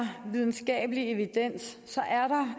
videnskabelig evidens